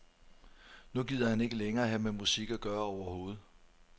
Nu gider han ikke længere have med musik at gøre overhovedet.